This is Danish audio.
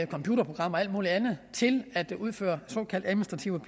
computerprogrammer og alt muligt andet til at udføre såkaldt administrativt